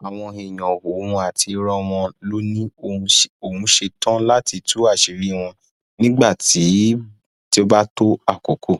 àwọn èèyàn ọhún àti irọ wọn ló ní òun ṣetán láti tú àṣírí wọn nígbà tó bá tó àkókò